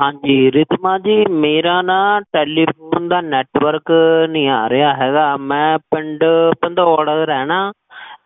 ਹਾਂਜੀ, ਰੀਧਿਮਾ ਜ, ਮੇਰਾ ਨਾ telephone ਦਾ network ਨੀ ਆਰੇਹਾ ਹੈਗਾ ਮੈਂ ਪਿੰਡ ਪੰਦੋੜ ਰਹਨਾ,